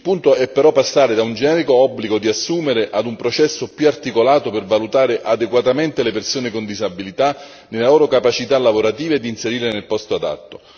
Il punto è però passare da un generico obbligo di assumere a un processo più articolato per valutare adeguatamente le persone con disabilità nelle loro capacità lavorative e di inserirle nel posto adatto.